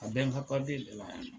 A bɛ n ka de la yan.